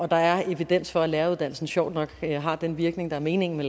der er evidens for at læreruddannelsen sjovt nok har den virkning der er meningen